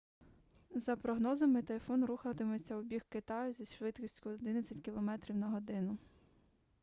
за прогнозами тайфун рухатиметься у бік китаю зі швидкістю 11 км/год